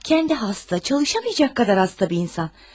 Özü xəstədir, işləyə bilməyəcək qədər xəstə bir insandır.